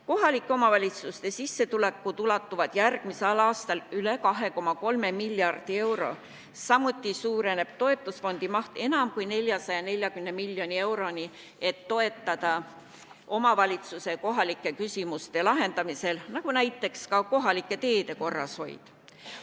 Kohalike omavalitsuste sissetulekud ulatuvad järgmisel aastal üle 2,3 miljardi euro, samuti suureneb toetusfondi maht enam kui 440 miljoni euroni, et toetada omavalitsusi kohalike küsimuste lahendamisel, nagu näiteks kohalike teede korrashoid.